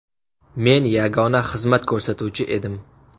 Men yagona xizmat ko‘rsatuvchi edim.